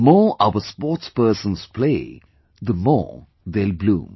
The more our sportspersons play, the more they'll bloom